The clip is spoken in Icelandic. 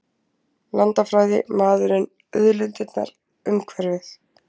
Landafræði- maðurinn, auðlindirnar, umhverfið.